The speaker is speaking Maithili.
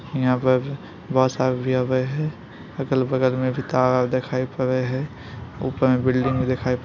यहां पर अगल-बगल में भी तार आर देखाय पड़य हेय ऊपर में बिल्डिंग देखाय---